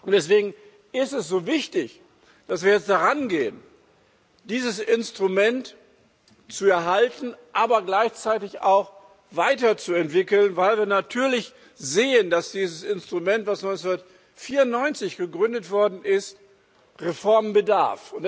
Deswegen ist es so wichtig, dass wir jetzt darangehen, dieses Instrument zu erhalten, aber gleichzeitig auch weiterzuentwickeln, weil wir natürlich sehen, dass dieses Instrument, das 1994 gegründet worden ist, Reformen bedarf.